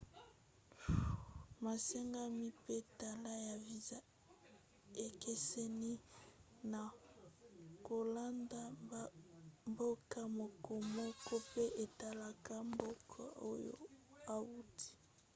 masengami mpe talo ya viza ekeseni na kolanda mboka mokomoko mpe etalaka mboka oyo outi